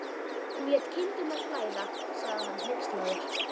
Hún lét kindurnar flæða, sagði hann hneykslaður.